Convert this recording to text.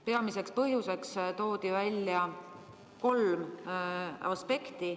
Peamise põhjusena toodi välja kolm aspekti.